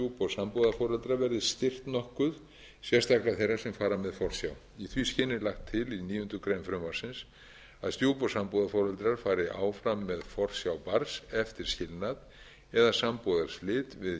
stjúp og sambúðarforeldra verði styrkt nokkuð sérstaklega þeirra sem fara með forsjá í því skyni er lagt til í níundu grein frumvarpsins að stjúp og sambúðarforeldrar fari áfram með forsjá barns eftir skilnað eða sambúðarslit við kynforeldri nema